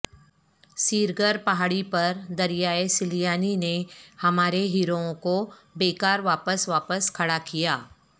سیرگر پہاڑی پر دریائے سلیانی نے ہمارے ہیرووں کو بیکار واپس واپس کھڑا کیا